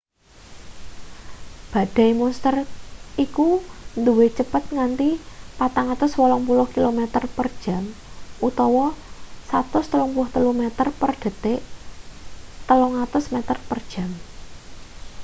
badai monster iku duwe cepet nganti 480 kilometer/jam 133 meter/detik; 300 meter per jam